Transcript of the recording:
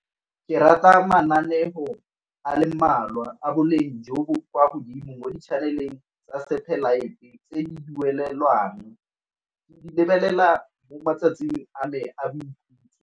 Ke rata mananeo a le mmalwa a boleng jo bo kwa godimo mo di-channel-eng tsa satellite tse di duelelwang, ke di lebelela mo matsatsing a me a boikhutso.